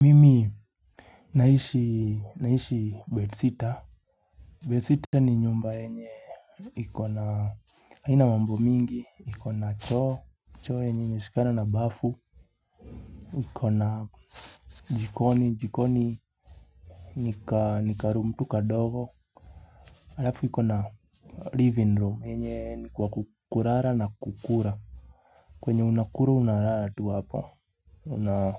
Mimi naishi bed sitter Bed sitter ni nyumba uenye ikona haina mambo mingi ikona choo choo yenye imishikana na bafu ikona jikoni jikoni Nika room tuka dogo Alafu ikona living room yenye ni kwa kukulala na kukula kwenye unakula unalala tu hapo kiuna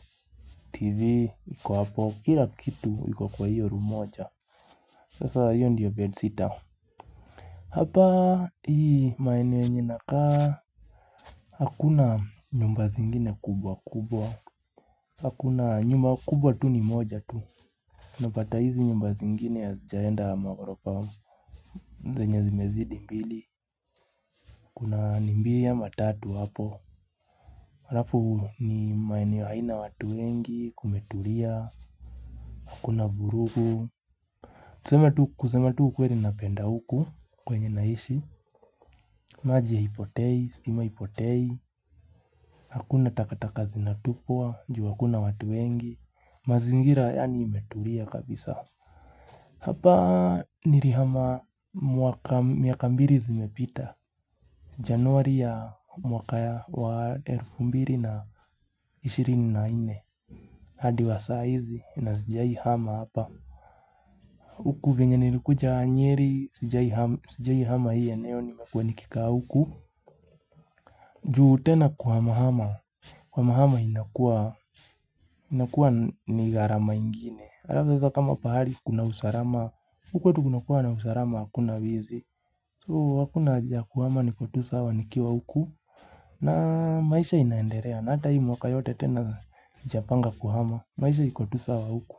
tv iku wapo kila kitu iku kwa hiyo room moja Sasa hiyo ndiyo bed sitter Hapa hii maeneo yenye nakaa Hakuna nyumba zingine kubwa kubwa Hakuna nyumba kubwa tu ni moja tu Napata hizi nyumba zingine ya hazijaenda maghorofa zenye zimezidi mbili Kuna mbili ama tatu hapo halafu ni maeneo haina watu wengi kumetulia Hakuna vurugu kusema tu ukweli napenda huku kwenye naishi maji ya haipotei, stima haipotei Hakuna takataka zinatupua juu hakuna watu wengi mazingira yani imetulia kabisa Hapa nilihama miaka mbili zimepita Januari ya mwaka ya wa elfu mbili na ishirini na nne hadi wa saizi na sijai hama hapa Uku venye nilikuja nyeri Sijai hama hii eneo nimekuwa nikika huku juu tena kuhama hama Kuhama hama inakuwa inakua ni gharama ingine. Alafu sasa kama pahali kuna usalama. Huku kwetu kuna kuwa na usalama hakuna wizi. So hakuna haja kuhama niko tu sawa nikiwa huku. Na maisha inaendelea na hata hii mwaka yote tena sijapanga kuhama. Maisha iko tu sawa huku.